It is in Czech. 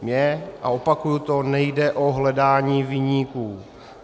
Mně - a opakuji to - nejde o hledání viníků.